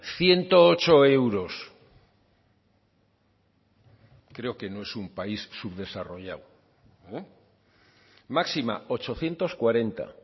ciento ocho euros creo que no es un país subdesarrollado máxima ochocientos cuarenta